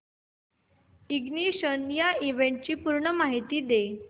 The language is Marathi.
इग्निशन या इव्हेंटची पूर्ण माहिती दे